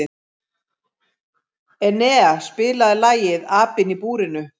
Enea, spilaðu lagið „Apinn í búrinu“.